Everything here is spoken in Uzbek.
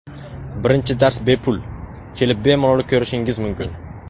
Birinchi dars bepul, kelib bemalol ko‘rishingiz mumkin.